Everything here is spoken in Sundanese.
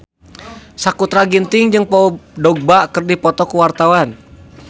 Sakutra Ginting jeung Paul Dogba keur dipoto ku wartawan